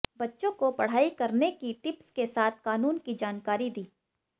बच्चों को पढ़ाई करने की टिप्स के साथ कानून की जानकारी दी